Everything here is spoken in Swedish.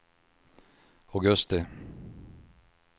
augusti